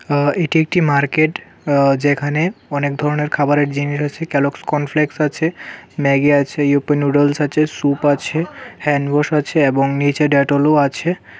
আঃ এটি একটি মার্কেট আঃ যেখানে অনেক ধরনের খাবারের জিনিস আছে কেলগস্ কর্ন ফ্লেক্স আছে ম্যাগি আছে ইপ্পি নুডলস আছে স্যুপ আছে হ্যান্ড ওয়াশ আছে এবং নীচে ডেটলও আছে.